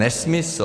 Nesmysl.